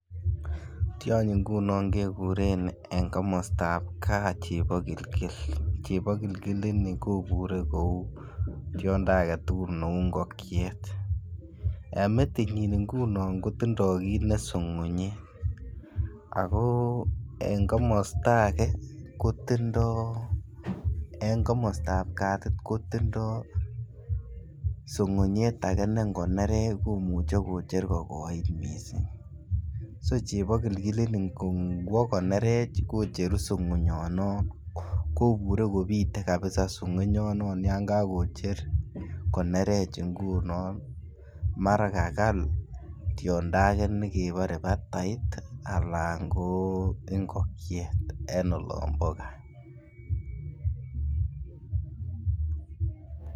Tyonyi ngunon keguren en komostab gaa chebogilgil, chebogilgil ini kobure kouu tyondo agetugul ne uu ngogyet, emetinyin ngunon ko tindo kit ne sokonyet ago en komosto age kotindo en komostab katit kotindo sokonyet agee ne ngo nerech komuche kocher ko kogoit missing so chebogilgil ini ngwo konerech kocheru sokonyonon kobure kopitee kabisa sokonyonon yan kakocher konerech ngunon mara kagal tiondo agee nekrbore batait alan ko ngogiet en olombo gaa